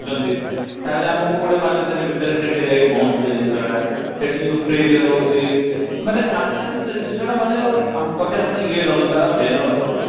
fridge ରେ ରହୁଛି । ଆସିଲା ବେଳକୁ ସେ ଜିନିଷ ର ଆଉ value ନଥିବ ।